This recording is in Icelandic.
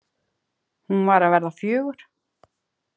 Hún var að verða fjögur.